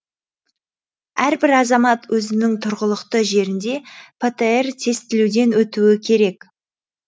әрбір азамат өзінің тұрғылықты жерінде птр тестілеуден өтуі керек